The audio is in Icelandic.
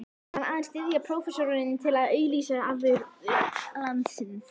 Vildi hann aðeins styðja prófessorinn til að auglýsa afurðir landsins?